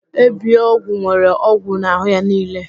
Ebiogwu nwere ogwu n'ahụ ya niile.